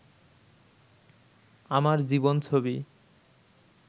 আমার জীবন ছবি